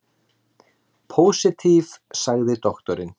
Pósitív, sagði doktorinn.